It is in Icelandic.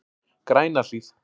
Grænahlíð